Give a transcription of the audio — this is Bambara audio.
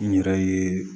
N yɛrɛ ye